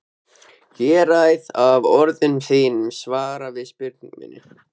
Ég ræð af orðum þínum svar við spurningu minni.